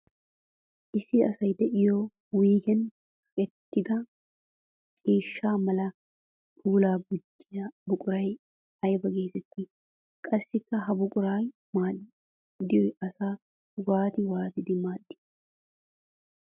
Issi asay de'iyo wuyggen kaqqettidda ciishsha mala puula gujjiya buquray aybba geetetti? Qassikka ha buqura maadoy asaa waatti waattiddi maaddi?